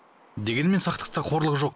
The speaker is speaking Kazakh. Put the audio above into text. дегенмен сақтықта қорлық жоқ